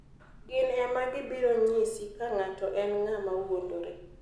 Gin ema gibiro nyisi ka ng'atno en ng'ama wuondore.